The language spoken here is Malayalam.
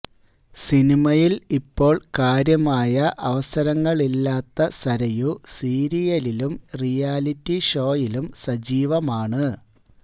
സിനിമയില് ഇപ്പോള് കാര്യമായ അവസരങ്ങളില്ലാത്ത സരയു സീരിയലിലും റിയാലിറ്റി ഷോയിലും സജീവമാണ്